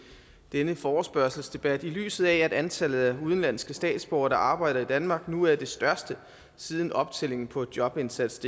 denne forespørgselsdebat i lyset af at antallet af udenlandske statsborgere der arbejder i danmark nu er det største siden optællingen på jobindsatsdk